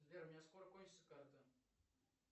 сбер у меня скоро кончится карта